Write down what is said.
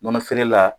Nɔnɔ feere la